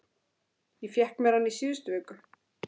Ég fékk mér hann í síðustu viku.